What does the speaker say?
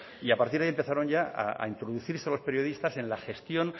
y a partir de ahí empezaron ya a introducirse a los periodistas en la gestión